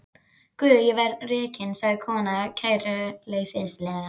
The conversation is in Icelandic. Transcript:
Guð ég verð rekin, sagði konan kæruleysislega.